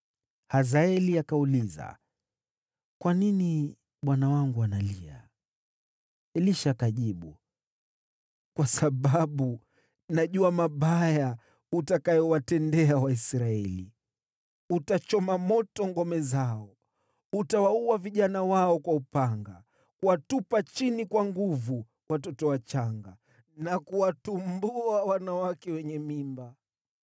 Hazaeli akauliza “Kwa nini bwana wangu analia?” Elisha akajibu, “Kwa sababu najua mabaya utakayowatendea Waisraeli. Utachoma moto ngome zao, utawaua vijana wao kwa upanga, kuwatupa chini kwa nguvu watoto wachanga, na kuwatumbua wanawake wenye mimba.”